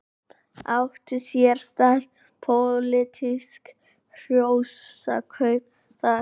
Áttu sér stað pólitísk hrossakaup þar?